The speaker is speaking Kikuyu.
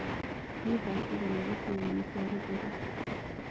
nĩ thaa cĩĩgana gĩcĩgoĩni kĩa rũgũrũ